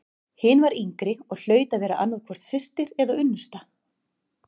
Hin var yngri og hlaut að vera annað hvort systir eða unnusta.